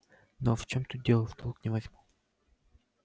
но в чём тут дело в толк не возьму